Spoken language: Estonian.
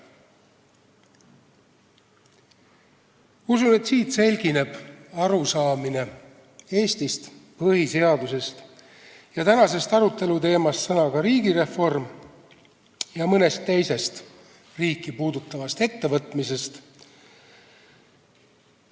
Usun, et siit selgineb arusaamine Eestist, põhiseadusest, tänasest aruteluteemast, mida tähistab sõna "riigireform", ja mõnest teisest riiki puudutavast ettevõtmisest.